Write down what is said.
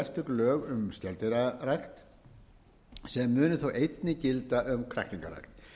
lög um skeldýrarækt sem munu þá einnig gilda um kræklingarækt ég vek